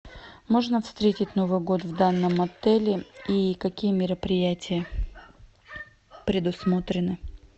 можно встретить новый год в данном отеле и какие мероприятия предусмотрены